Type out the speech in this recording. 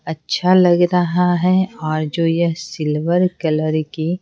अच्छा लग रहा है और जो यह सिल्वर कलर की--